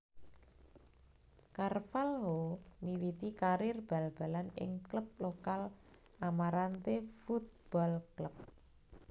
Carvalho miwiti karir bal balan ing klub lokal Amarante Futebol Clube